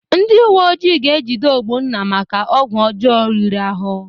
Ndị uweojii ga-ejide Ogbonna maka ọgwụ ọjọọ riri ahụ.